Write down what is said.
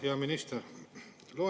Hea minister!